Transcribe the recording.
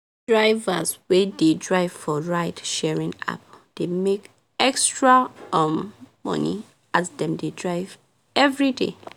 drivers wey dey drive for ride sharing app dey make extra um money as dem dey drive everyday